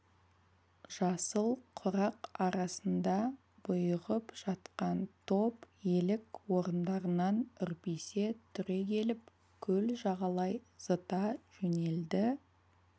жасыл құрақ арасында бұйығып жатқан топ елік орындарынан үрпиісе түрегеліп көл жағалай зыта жөнелді